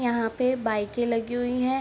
यहाँ पे बाइके लगी हुई है।